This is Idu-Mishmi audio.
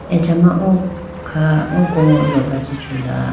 achama oo kha oko ma lopra chi chula.